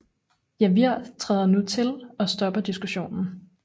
Javier træder nu til og stopper diskussionen